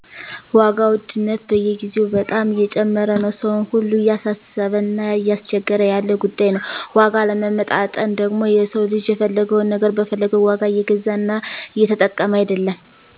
ዋጋ ውድነት በየግዜው በጣም እየጨመረ ነው ሰውን ሁሉ እያሳሰበ እና እያስቸገረ ያለ ጉዳይ ነው። ዋጋ አለመመጣጠን ደግሞ የሰው ልጅ የፈለገውን ነገር በፈለገው ዋጋ እየገዛና እየተጠቀመ አይደለም